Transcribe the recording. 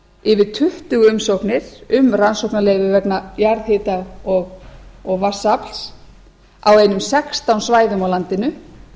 yfir tuttugu umsóknir um rannsóknarleyfi vegna jarðhita og vatnsafls á einum sextán svæðum á landinu